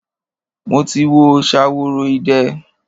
Mo ti wo Ṣaworoide.